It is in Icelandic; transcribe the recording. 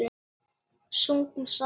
Sungum saman.